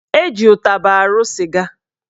Eji ụtaba arụ sịga